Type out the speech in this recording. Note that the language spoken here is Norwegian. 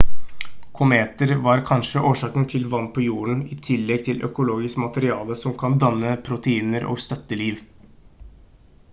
kometer var kanskje årsaken til vann på jorden i tillegg til økologisk materie som kan danne proteiner og støtte liv